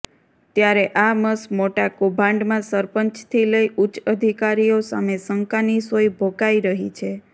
ત્યારે આ મસ મોટા કૌભાંડમાં સરપંચથી લઇ ઉચ્ચ અધિકારીઓ સામે શંકાની સોય ભોકાઈ રહી છે